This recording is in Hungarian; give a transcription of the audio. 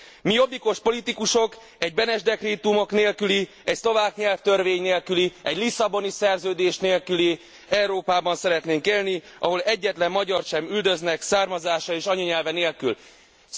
Mi, jobbikos politikusok, egy Beneš dekrétumok nélküli, egy szlovák nyelvtörvény nélküli, egy Lisszaboni Szerződés nélküli Európában szeretnénk élni, ahol egyetlen magyart sem üldöznek származása és anyanyelve miatt.